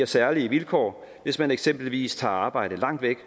særlige vilkår hvis man eksempelvis tager arbejde langt væk